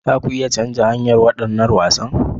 Za ku iya canza hanyar waɗannan wasan?